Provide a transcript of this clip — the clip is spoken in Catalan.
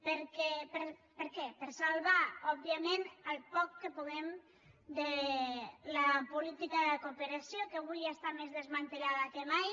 per què per salvar òbviament el poc que puguem de la política de cooperació que avui està més desmantellada que mai